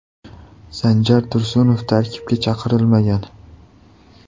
Sanjar Tursunov tarkibga chaqirilmagan.